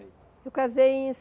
Eu casei em